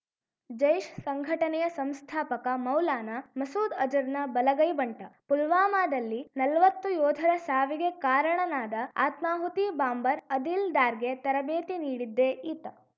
ಜೈಷ್‌ ಸಂಘಟನೆಯ ಸಂಸ್ಥಾಪಕ ಮೌಲಾನಾ ಮಸೂದ್‌ ಅಜರ್‌ನ ಬಲಗೈ ಬಂಟ ಪುಲ್ವಾಮಾದಲ್ಲಿ ನಲ್ವತ್ತು ಯೋಧರ ಸಾವಿಗೆ ಕಾರಣನಾದ ಆತ್ಮಾಹುತಿ ಬಾಂಬರ್‌ ಅದಿಲ್‌ ದಾರ್‌ಗೆ ತರಬೇತಿ ನೀಡಿದ್ದೇ ಈತ